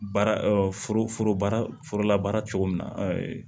Baara foro baara foro labaara cogo min na